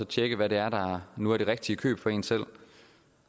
tjekke hvad der nu er det rigtige køb for en selv